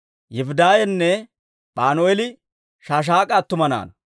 Yifidaaynne Panu'eeli Shaashak'a attuma naanaa.